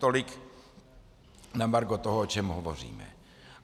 Tolik na margo toho, o čem hovořím.